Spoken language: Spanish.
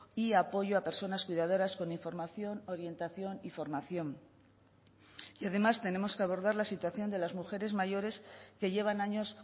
y apoyo a personas cuidadoras con información orientación y formación y además tenemos que abordar la situación de las mujeres mayores que llevan años